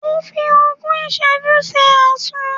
Ó fi ogún ìsẹ́jú ṣe Àsun.